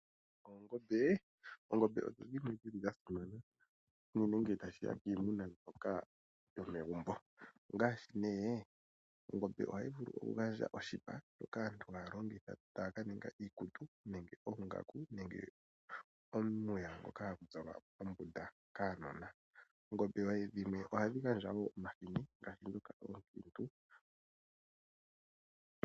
Oongombe odho dhimwe dhili dhasimana, unene ngele tashiya piimuna yopegumbo. Koongombe ohaku vulu okuza oshipa shoka aantu haalongitha okulongamo iikutu nenge oongaku nenge omapaya ngoka haga zalwa kuunona wuumati mooshiya. Oongombe oonkintu ohadhi kandwa omahini gokulya.